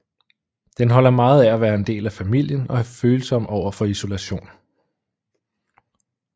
Den holder meget af at være en del af familien og er følsom overfor isolation